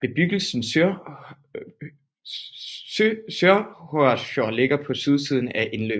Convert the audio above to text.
Bebyggelsen Sørhorsfjord ligger på sydsiden af indløbet